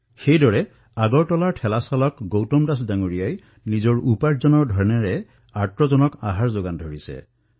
সেইদৰে আগৰতলাত ঠেলা চলাই জীৱন অতিবাহিত কৰা গৌতম দাসে নিজৰ দৈনিক হাজিৰাৰ পৰা যি টকা সঞ্চয় কৰিছিল তাৰে প্ৰতিদিনে দাইলচাউল ক্ৰয় কৰি ক্ষুধাৰ্তসকলক খাদ্যৰ যোগান ধৰিছে